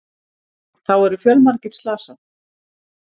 Þá eru fjölmargir slasað